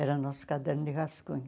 Era o nosso caderno de rascunho.